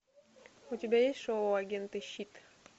у тебя есть шоу агенты щит